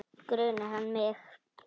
Grunar hann mig?